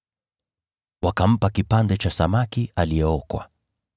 Wakampa kipande cha samaki aliyeokwa,